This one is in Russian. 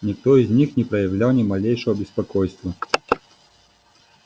никто из них не проявлял ни малейшего беспокойства